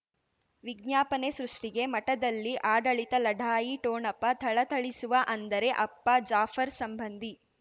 ವಿಜ್ಞಾಪನೆ ಸೃಷ್ಟಿಗೆ ಮಠದಲ್ಲಿ ಆಡಳಿತ ಲಢಾಯಿ ಠೋಣಪ ಥಳಥಳಿಸುವ ಅಂದರೆ ಅಪ್ಪ ಜಾಫರ್ ಸಂಬಂಧಿ